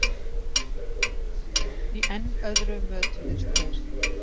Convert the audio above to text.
Í enn öðru mötuðust þeir.